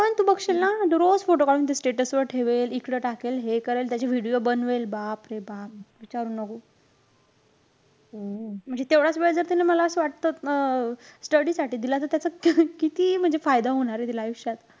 रोज photo काढून ते status वर ठेवेल. इकडं टाकेल, हे करेल. त्याचे video बनवेल. बापरे बाप. विचारू नको. म्हणजे तेवढाच वेळ जर तिने मला असं वाटतं अं study साठी दिला त त्याच किती म्हणजे फायदा होणारे तिला आयुष्यात.